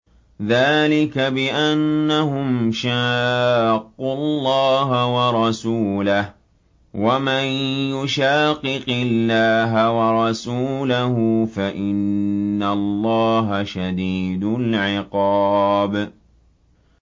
ذَٰلِكَ بِأَنَّهُمْ شَاقُّوا اللَّهَ وَرَسُولَهُ ۚ وَمَن يُشَاقِقِ اللَّهَ وَرَسُولَهُ فَإِنَّ اللَّهَ شَدِيدُ الْعِقَابِ